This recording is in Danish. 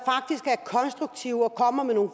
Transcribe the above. konstruktiv og kommer med nogle